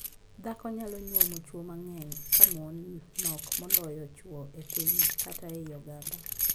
Dhako nyalo nyuomo chwo mang'eny ka mon nok moloyo chwo e piny kata ei oganda.